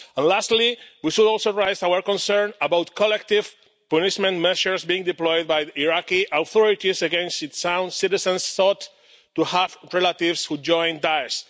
Lastly, we should also raise our concern about collective punishment measures being deployed by the Iraqi authorities against its own citizens thought to have relatives who joined Daesh.